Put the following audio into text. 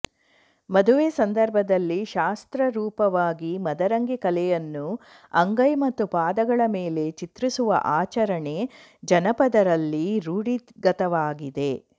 ಮದುವೆ ಸಂದರ್ಭದಲ್ಲಿ ಶಾಸ್ತ್ರ ರೂಪವಾಗಿ ಮದರಂಗಿ ಕಲೆಯನ್ನು ಅಂಗೈ ಮತ್ತು ಪಾದಗಳ ಮೇಲೆ ಚಿತ್ರಿಸುವ ಆಚರಣೆ ಜನಪದರಲ್ಲಿ ರೂಢಿಗತವಾಗಿದೆ